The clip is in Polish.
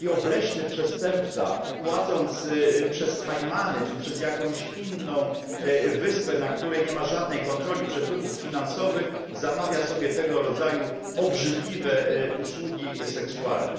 I taki obleśny przestępca płacąc przez Kajmany czy przez jakąś inną wyspę, na której nie ma żadnej kontroli przepływów finansowych, zamawia sobie tego rodzaju obrzydliwe usługi seksualne.